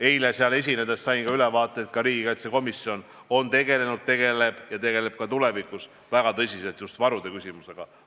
Eile seal esinedes sain ülevaate, et ka riigikaitsekomisjon on tegelenud ja tegeleb ka tulevikus väga tõsiselt just varude küsimusega.